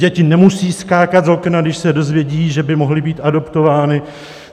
Děti nemusí skákat z okna, když se dozvědí, že by mohly být adoptovány.